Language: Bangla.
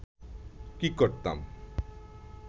কি করতাম